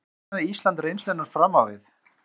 Saknaði Ísland reynslunnar fram á við?